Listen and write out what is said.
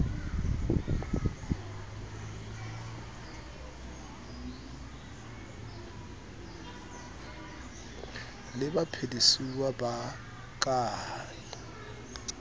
le baphedisuwa ba ka e